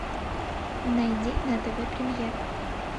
найди на тв премьер